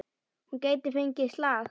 Hún gæti fengið slag.